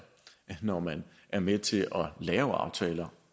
at når man er med til at lave aftaler